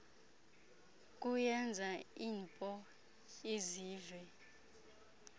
kuyenza inpo izive